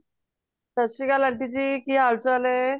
ਸਤਿ ਸ਼੍ਰੀ ਅਕਾਲ aunty ਜੀ ਕਿ ਹਾਲ ਚਾਲ ਏ